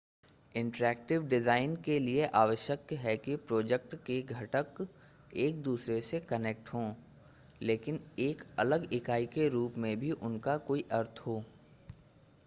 interactive design के लिए आवश्यक है कि प्रोजेक्ट के घटक एक-दूसरे से कनेक्ट हों लेकिन एक अलग इकाई के रूप में भी उनका कोई अर्थ हो